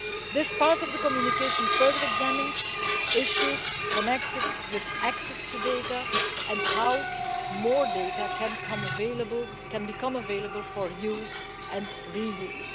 This part of the communication further examines issues connected with access to data and how more data can become available for use and reuse.